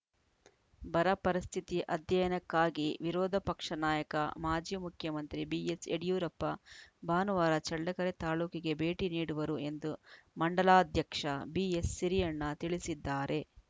ಬರ ಪರಿಸ್ಥಿತಿ ಅಧ್ಯಯನಕ್ಕಾಗಿ ವಿರೋಧ ಪಕ್ಷ ನಾಯಕ ಮಾಜಿ ಮುಖ್ಯಮಂತ್ರಿ ಬಿಎಸ್‌ಯಡಿಯೂರಪ್ಪ ಭಾನುವಾರ ಚಳ್ಳಕೆರೆ ತಾಲೂಕಿಗೆ ಭೇಟಿ ನೀಡುವರು ಎಂದು ಮಂಡಲಾಧ್ಯಕ್ಷ ಬಿವಿಸಿರಿಯಣ್ಣ ತಿಳಿಸಿದ್ದಾರೆ